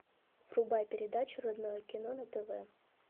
врубай передачу родное кино на тв